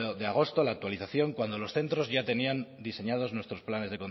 de agosto la actualización cuando los centros ya tenían diseñados nuestros planes